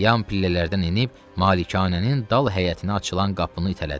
Yan pillələrdən enib malikanənin dal həyətinə açılan qapını itələdi.